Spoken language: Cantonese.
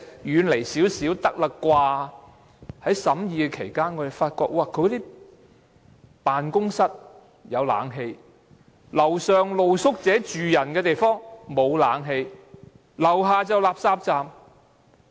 在審議有關建議期間，我們發覺政府辦公室有冷氣，樓上是露宿者宿舍，沒有冷氣，樓下是垃圾站。